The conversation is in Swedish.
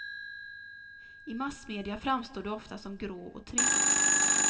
I massmedia framstår du ofta som grå och trist.